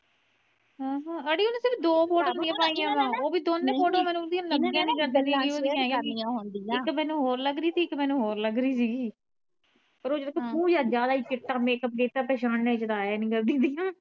ਆਹਾ ਅੜੀਏ ਸਿਰਫ ਓਹਨੇ ਦੋ ਫੋਟੋਆ ਆਪਣੀਆਂ ਪਾਈਆ ਵਾ ਓਵੀ ਦੋਨੇ ਫੋਟੋਆ ਮੈਨੂੰ ਉਦੀਆਂ ਲਗੀਆਂ ਨਹੀਂ ਇਕ ਮੈਨੂੰ ਹੋਰ ਲੱਗ ਰਹੀ ਸੀ ਇਕ ਮੈਨੂੰ ਹੋਰ ਲੱਗ ਰਹੀ ਸੀ।